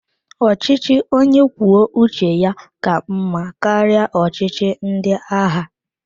Ọchịchị onye kwuo uche ya ka mmá karịa ọchịchị ndị agha.